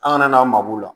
An kana n'aw ma